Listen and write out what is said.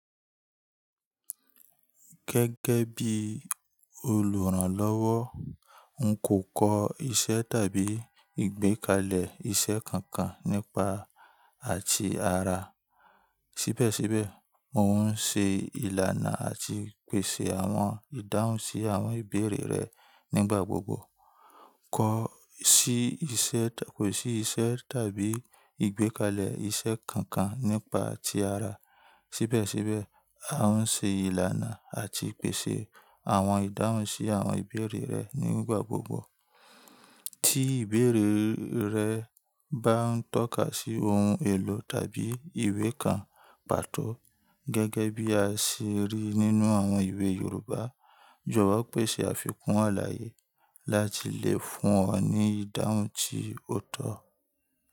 Gẹ́gẹ́ bí olùrànlọ́wọ́, n kò kọ iṣẹ́ tàbí ìgbékalẹ̀ iṣẹ́ kankan nípa àti ara. Síbẹ̀síbẹ̀, mò ń ṣe ìlànà àti pèsè àwọn ìdáhùn sí àwọn ìbéèrè rẹ nígbà gbogbo. Kọ si isẹ, kosi isẹ tabi igbekalẹ isẹ kankan nipa ti ara. Síbẹ̀síbẹ̀, a ń ṣe ìlànà àti pèsè àwọn ìdáhùn sí àwọn ìbéèrè rẹ nígbà gbogbo. Tí ìbéèrè rẹ bá ń tọ́ka sí ohun èlò tàbí ìwé kan pàtó, gẹ́gẹ́ bí a ṣe rí nínú àwọn ìwé Yorùbá. Jọ̀wọ́ pèsè àfikún àlàyé láti lè fún ọ ní ìdáhùn tí ó tọ́.